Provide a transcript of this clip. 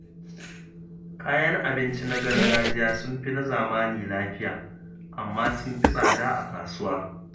Kayan abinci na gargajiya sun fi na zamani lafiya, amma sun fi tsada a kasuwa.